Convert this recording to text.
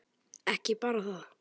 Ekki bara það.